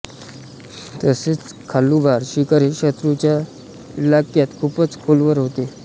तसेच खालुबार शिखर हे शत्रूच्या इलाक्यात खूपच खोलवर होते